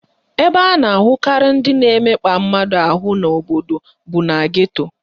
Ebe a na-ahụkarị ndị na-emekpa mmadụ ahụ n'obodo bụ na geto